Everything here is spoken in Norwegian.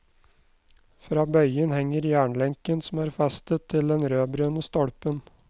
Fra bøylen henger jernlenken som er festet til den rødbrune stolpen.